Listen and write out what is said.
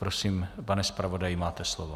Prosím, pane zpravodaji, máte slovo.